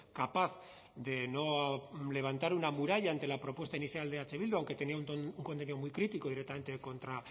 capaz de no levantar una muralla ante la propuesta inicial de eh bildu aunque tenía un contenido muy crítico directamente